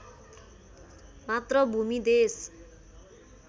मात्र भूमि देश